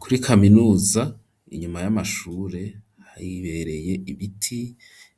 Kuri kaminuza, inyuma y'amashure hibereye ibiti